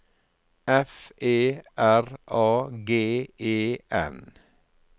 F E R A G E N